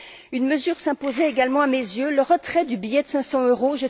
Une mesure s'imposait également à mes yeux le retrait du billet de cinq cents euros.